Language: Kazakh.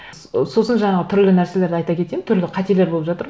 ы сосын жаңағы түрлі нәрселерді айта кетемін түрлі қателер болып жатыр